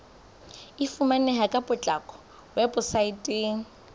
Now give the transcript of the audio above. e fumaneha ka potlako weposaeteng